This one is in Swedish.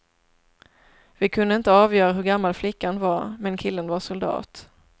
Vi kunde inte avgöra hur gammal flickan var, men killen var soldat.